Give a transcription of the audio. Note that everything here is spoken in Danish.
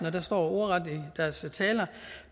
og det står ordret i deres taler